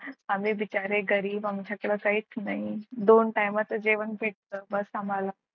आम्ही बिचारे गरीब आमच्याकडे काहीच नाही दोन time चं जेवण भेटत बस आम्हाला.